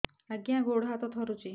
ଆଜ୍ଞା ଗୋଡ଼ ହାତ ଥରୁଛି